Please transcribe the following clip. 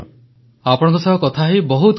ପ୍ରଧାନମନ୍ତ୍ରୀ ଉଙ୍ଗକିଟ୍ଟ ପେସିୟଦିଲ୍ ୟେନକ୍କ